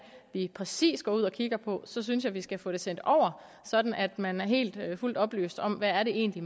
præcis går ud og kigger på så synes jeg at vi skal få det sendt over sådan at man er helt og fuldt oplyst om hvad det egentlig